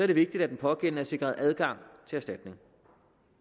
det vigtigt at den pågældende er sikret adgang til erstatning